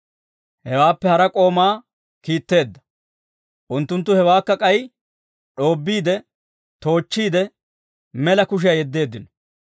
Hewaappe hara k'oomaa kiitteedda. Unttunttu hewaakka k'ay d'oobbiide, toochchiide, mela kushiyaa yeddeeddino.